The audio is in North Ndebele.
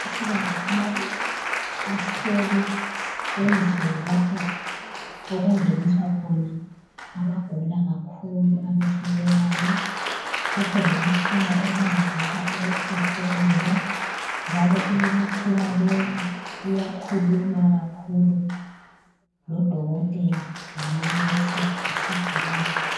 Amakhosikazi amabili ahleli endlini lapho okungeniswa khona abagula kakhulu, abehlulekayo. Kukhona lemitshina ebancedisa ukuphefumula njalo imitshina leyi iyakhuluma kakhulu lodokotela, lamanesi, lesigulane.